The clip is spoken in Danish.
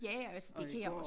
Ja og altså det kan jeg også